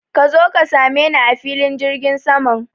Ka zo ka sameni a filin jirgin saman.